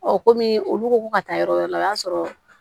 kɔmi olu ko ko ka taa yɔrɔ wɛrɛ la o y'a sɔrɔ